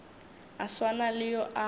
a swana le yo a